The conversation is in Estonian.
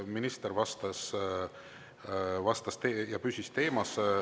Minister vastas ja püsis teemas.